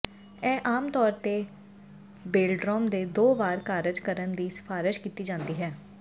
ਇਹ ਆਮ ਤੌਰ ਤੇ ਬੇਲਡਰਮ ਦੇ ਦੋ ਵਾਰ ਕਾਰਜ ਕਰਨ ਦੀ ਸਿਫਾਰਸ਼ ਕੀਤੀ ਜਾਂਦੀ ਹੈ